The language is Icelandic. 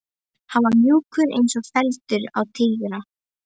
Hann var mjúkur eins og feldurinn á Týra.